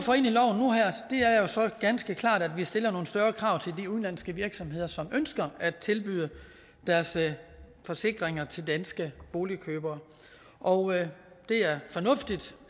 ganske klart at vi stiller nogle større krav til de udenlandske virksomheder som ønsker at tilbyde deres forsikringer til danske boligkøbere og det er fornuftigt